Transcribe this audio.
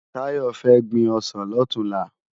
Tayo fè gbin òsán lòtúnlá